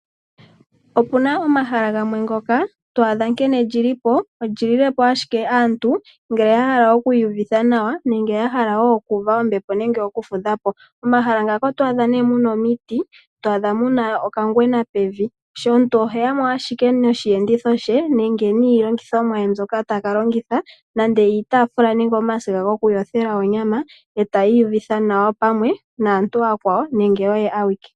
Opuna omahala gamwe ngoka to adha nkene lilipo oli lilepo ashike aantu ngele ya hala oku iyuvitha nawa nenge yahala oku uva ommbepo nenge oku fudhapo . Momahala muka oto adhamo nee muna omiti, to adha muna okangwena pevi. Omuntu oheyamo ashike noshi enditho she nenge iilongithomwa ye mbyoka taka longitha niinima mbyoka taka longitha nande iitafula nenge omasiga goku yothela oonyama e taya iyuvitha nawa pamwe naantu ooyakwawo nenge oye awike.